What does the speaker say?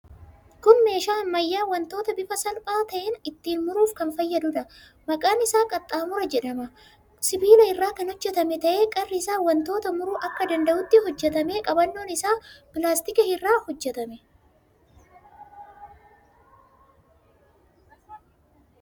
Kun meeshaa ammayyaa wantoota bifa salphaa ta'een ittiin muruuf kan fayyaduudha. Maqaan isaa qaxxaamura jedhama. Sibiila irraa kan hojjetame ta'ee qarri isaa wantoota muruu akka danda'utti hojjetame. Qabannoon isaa pilaastikii irraa hojjetame.